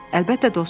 Əlbəttə dostum.